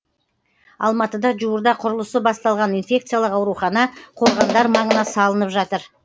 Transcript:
алматыда жуырда құрылысы басталған инфекциялық аурухана қорғандар маңына салынып жатыр